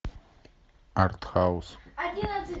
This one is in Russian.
артхаус